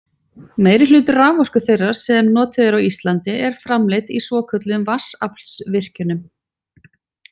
Meirihluti raforku þeirrar sem notuð er á Íslandi er framleidd í svokölluðum vatnsaflsvirkjunum.